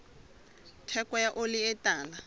theko ya oli e tala